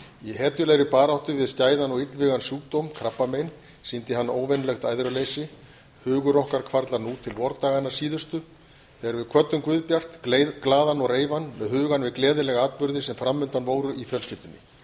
í hetjulegri baráttu við skæðan og illvígan sjúkdóm krabbamein sýndi hann óvenjulegt æðruleysi hugur okkar hvarflar nú til vordaganna síðustu þegar við kvöddum guðbjart glaðan og reifan með hugann við gleðilega atburði sem fram undan voru í fjölskyldunni